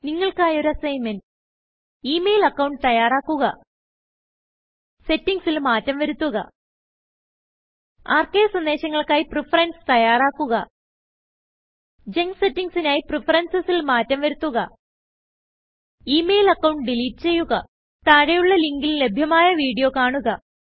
നിങ്ങൾക്കായി ഒരു assignment email account തയ്യാറാക്കുക സെറ്റിംഗ്സിൽ മാറ്റം വരുത്തുക ആർക്കൈവ് സന്ദേശങ്ങൾക്കായി പ്രഫറൻസ് തയ്യാറാക്കുക ജങ്ക് സെറ്റിംഗ്സ് നായി preferencesൽ മാറ്റം വരുത്തുക ഇ മെയിൽ അക്കൌണ്ട് ഡിലീറ്റ് ചെയ്യുക താഴെയുള്ള ലിങ്കിൽ ലഭ്യമായ വീഡിയോ കാണുക